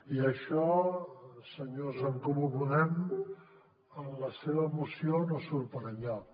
i això senyors d’en comú podem en la seva moció no surt per enlloc